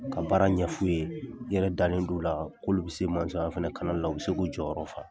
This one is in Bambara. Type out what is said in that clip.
Ka baara ɲɛ f'u ye i yɛrɛ dalen d'u la k'olu bɛ se fana la u bɛ se k'u jɔyɔrɔ fa.